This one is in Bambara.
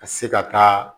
Ka se ka taa